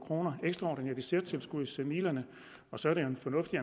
kroner i særtilskudsmidlerne og så er det en fornuftig